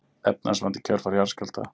Efnahagsvandi í kjölfar jarðskjálfta